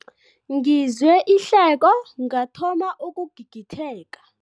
Ngizwe ihleko ngathoma ukugigitheka.